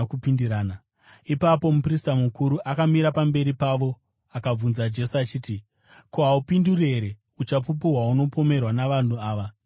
Ipapo muprista mukuru akamira pamberi pavo akabvunza Jesu achiti, “Ko, haupinduri here? Uchapupu hwaunopomerwa navanhu ava ndohweiko?”